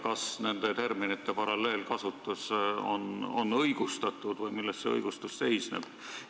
Kas nende terminite paralleelkasutus on õigustatud või milles see õigustus seisneb?